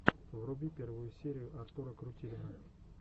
вруби первую серию артура крутилина